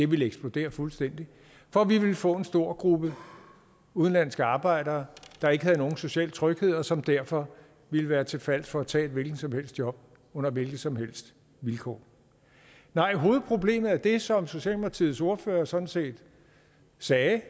ville eksplodere fuldstændig for vi ville få en stor gruppe udenlandske arbejdere der ikke havde nogen social tryghed og som derfor ville være til fals for at tage et hvilket som helst job under hvilke som helst vilkår nej hovedproblemet er det som socialdemokratiets ordfører sådan set sagde det